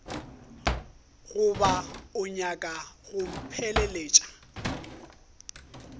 goba o nyaka go mpheleletša